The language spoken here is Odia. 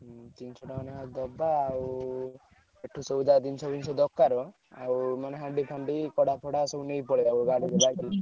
ହୁଁ ତିନିଶ ଟଙ୍କା ଲେଖା ଦବା ଆଉ ଏଠୁ ସଉଦା ଜିନିଷ ଫିନିଷ ଦରକାର ଆଉ ମାନେ ହାଣ୍ଡି ଫାଣ୍ଡି କଡା ଫଡା ସବୁ ନେଇ ପଳେଇବା ଗାଡିରେ ।